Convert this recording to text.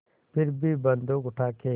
फिर भी बन्दूक उठाके